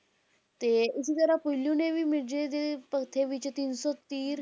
ਤੇ ਇਸੇ ਤਰ੍ਹਾਂ ਪੀਲੂ ਨੇ ਵੀ ਮਿਰਜ਼ੇ ਦੇ ਭੱਥੇ ਵਿੱਚ ਤਿੰਨ ਸੌ ਤੀਰ,